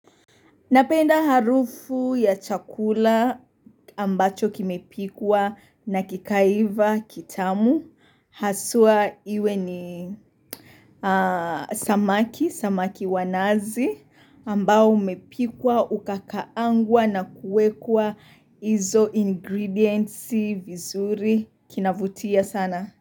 Napenda harufu ya chakula ambacho kimepikwa na kikaiva kitamu. Haswa iwe ni samaki, samaki wa nazi ambao umepikwa, ukakaangwa na kuwekwa izo ingredientsi vizuri, kinavutia sana.